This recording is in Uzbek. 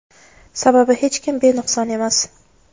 Sababi hech kim benuqson emas.